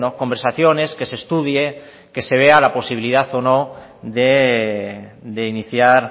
conversaciones que se estudie que se vea la posibilidad o no de iniciar